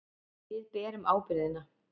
Við berum ábyrgðina.